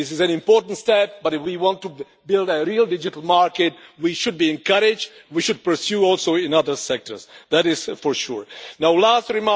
This is an important step but, if we want to build a real digital market, we should be encouraged and pursue this in other sectors. That is certain.